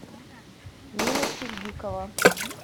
нина сиддикова